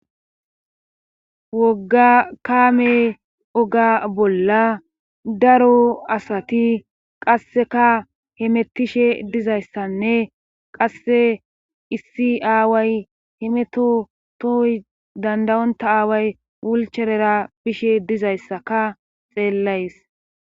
wogga kaame oga bolla daro asati qasseka hemettishe dizayssanne qasse issi aaway hemetotooy dandayonta aaway wulcherera bishe dizayssaka xeellays